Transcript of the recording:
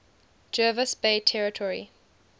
jervis bay territory